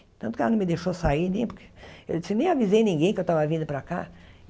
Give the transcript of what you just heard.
Tanto que ela não me deixou sair nem... Eu disse nem avisei ninguém que eu tava vindo para cá.